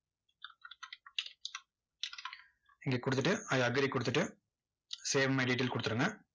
இங்க கொடுத்துட்டு i agree கொடுத்துட்டு save my detail கொடுத்துருங்க.